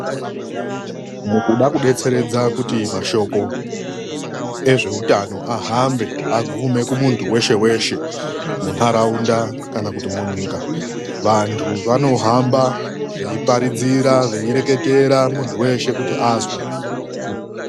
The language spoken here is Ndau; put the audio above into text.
Mukuda kubetseredza kuti mashoko ezvehutano ahambe agume kumuntu weshe-weshe munharaunda kana kuti munyika, vantu vanohamba veiparidzira weireketera kuti muntu veshe azwe.